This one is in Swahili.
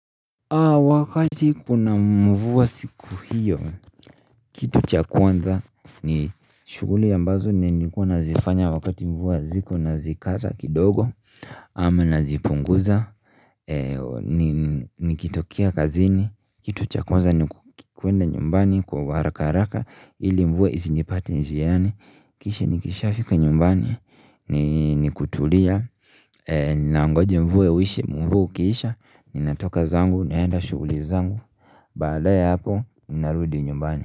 Wakati kuna mvua siku hiyo kitu cha kwanza ni shuguli ambazo ni nikuwa nazifanya wakati mvua ziko nazikata kidogo ama nazipunguza nikitokea kazini kitu cha kwanza ni kuenda nyumbani kwa harakaraka ili mvua isinipate njiani kisha nikisha fika nyumbani ni kutulia Ninaangoja mvue ukiisha ninatoka zangu, naenda shuguli zangu Baada ya hapo, narudi nyumbani.